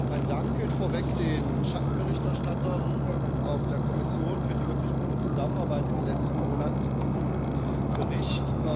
Mein Dank gilt vorweg den Schattenberichterstattern und auch der Kommission für die wirklich gute Zusammenarbeit in den letzten Monaten zu diesem Bericht.